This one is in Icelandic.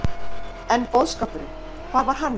En boðskapurinn, hvar var hann?